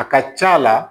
A ka ca la